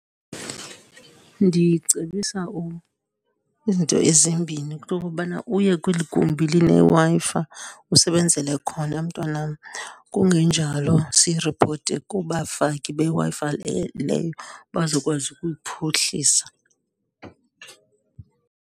Ndicebisa izinto ezimbini, into yokobana uye kweligumbi lineWi-Fi usebenzele khona mntwanam. Kungenjalo, siyiripote kubafaki beWi-Fi le leyo bazokwazi ukuyiphuhlisa.